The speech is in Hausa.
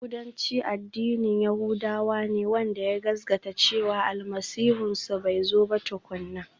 Yahudanci addinin yahudawa ne wanda ya gaskata cewa Almasihunsu bai zo ba tukuna.